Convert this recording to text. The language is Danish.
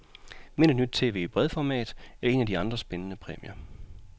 Vind et nyt tv i bredformat eller en af de andre spændende præmier.